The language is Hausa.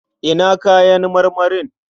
Ina kayan marmarin?